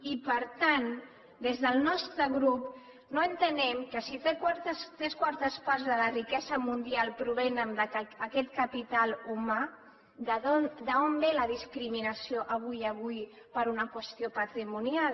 i per tant des del nostre grup no entenem si tres quartes parts de la riquesa mundial provenen d’aquest capital humà d’on ve la discriminació avui per una qüestió patrimonial